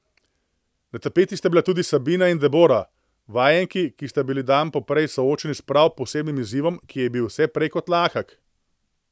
Na tapeti sta bili tudi Sabina in Debora, vajenki, ki sta bili dan poprej soočeni s prav posebnim izzivom, ki je bil vse prej kot lahek.